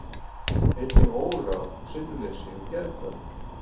Einnig óráð, sinnuleysi og geðhvörf.